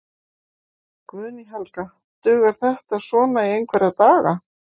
Guðný Helga: Dugar þetta svona í einhverja daga?